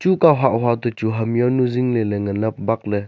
chuka hahhua to chu ham yawnu zingley ley ngan a bakley.